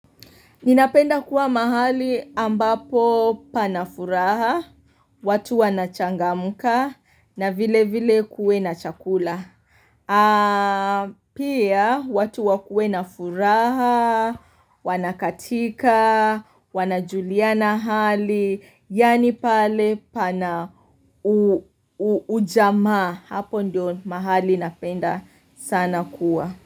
Ninapenda kuwa mahali ambapo pana furaha, watu wanachangamka, na vilevile kuwe na chakula. Pia, watu wakuwe na furaha, wanakatika, wanajuliana hali, yaani pale pana ujamaa. Hapo ndio mahali napenda sana kuwa.